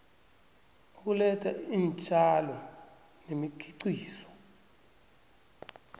ukuletha iintjalo nemikhiqizo